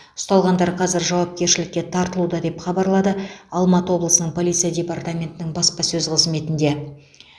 ұсталғандар қазір жауапкершілікке тартылуда деп хабарлады алматы облысының полиция департаментінің баспасөз қызметінде